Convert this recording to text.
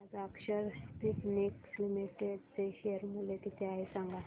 आज Akshar Spintex limited चे share मूल्य किती आहे सांगा